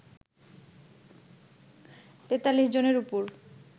৪৩ জনের উপর